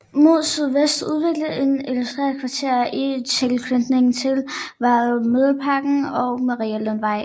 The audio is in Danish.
Mod sydvest udvikledes et industrikvarter i tilknytning til vejene Mileparken og Marielundvej